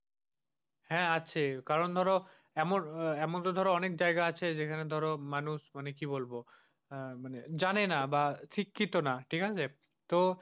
হ্যাঁ আছে কারন ধরো, এমন আহ এমনটা ধর অনেক যায়গা আছে যেখানে ধর মানুষ, মানে কি বলবো? আহ মানে জানে না বা শিক্ষিত না। ঠিক আছে? তো,